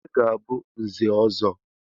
Onye ga-abụ Nze ọzọ?